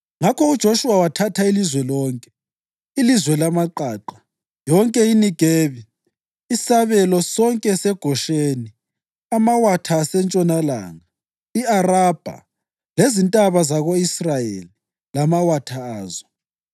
i-Ayini, iJutha leBhethi-Shemeshi, ndawonye lamadlelo awo, amadolobho ayisificamunwemunye esuka ezizwaneni lezi zombili.